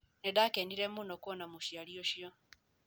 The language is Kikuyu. Nĩ ndaakenire mũno kuona mũciari ũcio